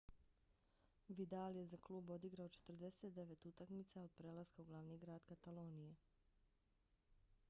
vidal je za klub odigrao 49 utakmica od prelaska u glavni grad katalonije